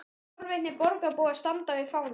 Tveir forvitnir borgarbúar standa við fánann.